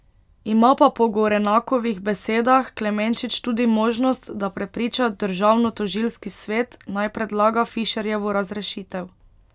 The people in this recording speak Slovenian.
Ima pa po Gorenakovih besedah Klemenčič tudi možnost, da prepriča Državnotožilski svet, naj predlaga Fišerjevo razrešitev.